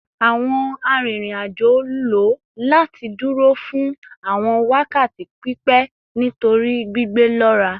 Awọn arinrin-ajo lo lati duro fun awọn wakati pipẹ nitori gbigbe lọra